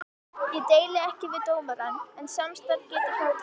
Ég deili ekki við dómarann, en samstarf getur hjálpað.